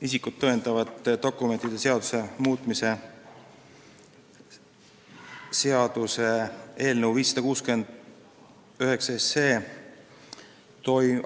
Isikut tõendavate dokumentide seaduse muutmise seaduse eelnõu 569